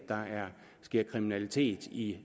der sker kriminalitet i